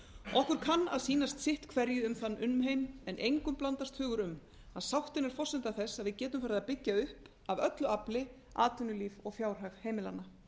okkur kann að sýnast sitt hverju um þann umheim en engum blandast hugur um að forsenda þess að við getum farið að byggja upp af öllu afli atvinnulíf og fjárhag heimilanna